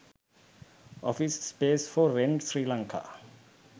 office space for rent sri lanka